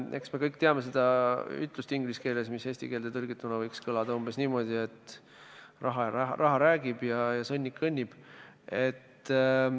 Eks me kõik teame seda ütlust inglise keeles, mis eesti keelde tõlgituna võiks kõlada umbes niimoodi, et raha räägib ja sõnnik kõnnib.